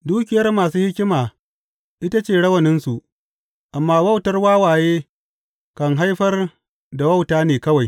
Dukiyar masu hikima ita ce rawaninsu, amma wautar wawaye kan haifar da wauta ne kawai.